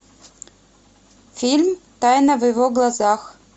фильм тайна в его глазах